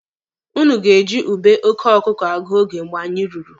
Ụnụ ga-eji ube oke ọkụkụ agụ oge mgbe anyị ruru.